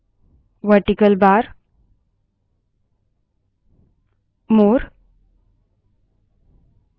केवल environment variables देखने के लिए इएनवी env command चलायें